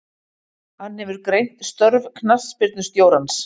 Hann hefur greint störf knattspyrnustjórans.